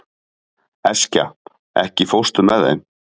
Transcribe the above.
Eskja, ekki fórstu með þeim?